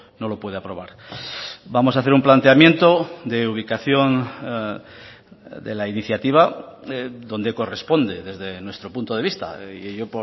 no lo puede aprobar vamos a hacer un planteamiento de ubicación de la iniciativa donde corresponde desde nuestro punto de vista y ello